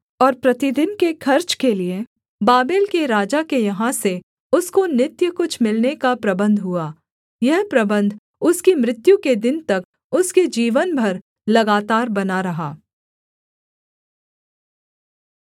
और प्रतिदिन के खर्च के लिये बाबेल के राजा के यहाँ से उसको नित्य कुछ मिलने का प्रबन्ध हुआ यह प्रबन्ध उसकी मृत्यु के दिन तक उसके जीवन भर लगातार बना रहा